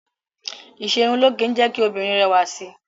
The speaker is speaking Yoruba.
Ìṣerunlóge ń jẹ́ kí obìnrin rẹwà sí.